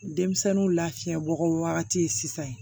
Denmisɛnninw lafiyabagaw wagati sisan